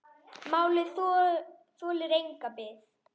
Málið þolir enga bið.